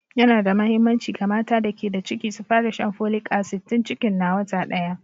Yana da muhimmanci ga mata da ke da ciki su fara shan folic asid tun cikin na wata daya.